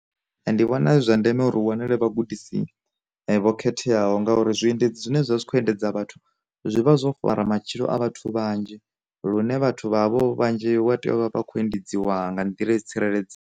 Ndi vhona zwi zwa ndeme uri wanele vhagudisi vho khetheaho, ngauri zwi endedzi zwine zwikho endedza vhathu, zwivha zwo fara matshilo a vhathu vhanzhi, lune vhathu vha havho vhanzhi wa tea uvha vhakho endedzwa nga nḓila yo tsireledze.